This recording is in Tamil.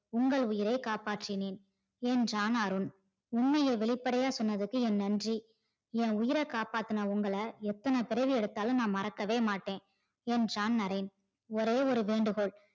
உங்கள் உயிரை காப்பாத்தினேன் என்றான் அருண். உண்மையை வெளிபடையா சொன்னதுக்கு என் நன்றி என் உயிர காப்பாத்துன உங்கள எத்தனை பிறவி எடுத்தாலும் நான் மறக்கவே மாட்டேன் என்றான் நரேன். ஒரே ஒரு வேண்டுகோள்